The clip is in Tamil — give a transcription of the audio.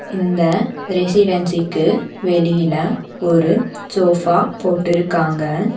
இந்த ரெசிடென்சிக்கு வெளில ஒரு சோஃபா போட்டிருக்காங்க.